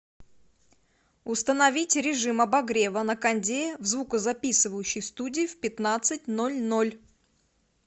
установить режим обогрева на кондее в звукозаписывающей студии в пятнадцать ноль ноль